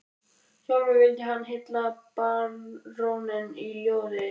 Sjálfur vildi hann hylla baróninn í ljóði